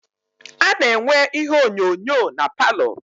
A na-enwe ihe onyonyo na paalọ.